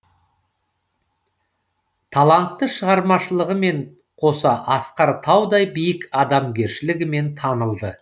талантты шығармашылығымен қоса асқар таудай биік адамгершілігімен танылды